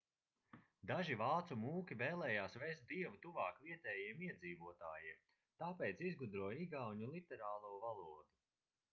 daži vācu mūki vēlējās vest dievu tuvāk vietējiem iedzīvotājiem tāpēc izgudroja igauņu literāro valodu